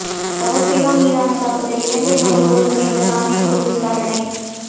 தவப்பிரியா மீதான தாக்குதல் இலங்கை மனித உரிமைகள் ஆணைக்குழு விசாரணை